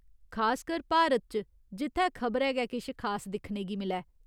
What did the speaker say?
खासकर भारत च जित्थै खबरै गै किश खास दिक्खने गी मिलै !